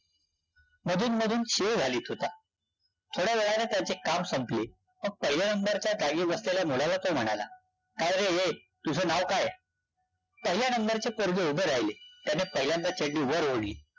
मधून-मधून शीळ घालीत होता. थोड्यावेळाने त्याचे काम संपले. मग पहिल्या number च्या जागी बसलेल्या मुलाला तो म्हणाला. काय रे ए, तुझं नाव काय? पहिल्या number चे पोरगे उभे राहिले. त्याने पहिल्यांदा चड्डी वर ओढली.